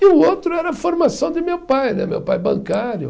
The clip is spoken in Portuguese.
E o outro era a formação de meu pai né, meu pai bancário.